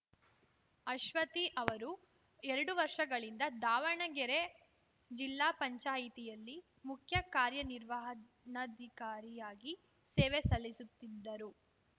ಅಶ್ವತಿ ಅವರು ಎರಡು ವರ್ಷಗಳಿಂದ ದಾವಣಗೆರೆ ಜಿಲ್ಲಾ ಪಂಚಾಯಿತಿಯಲ್ಲಿ ಮುಖ್ಯ ಕಾರ್ಯನಿರ್ವಹಣಾಧಿಕಾರಿಯಾಗಿ ಸೇವೆ ಸಲ್ಲಿಸುತ್ತಿದ್ದರು